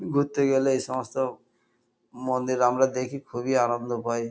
ঘুরতে গেলে এইসমস্ত মন্দির আমরা দেখি। খুবই আনন্দ পাই।